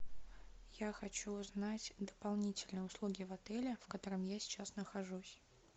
я хочу узнать дополнительные услуги в отеле в котором я сейчас нахожусь